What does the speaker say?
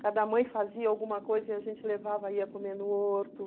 Cada mãe fazia alguma coisa e a gente levava e ia comer no horto.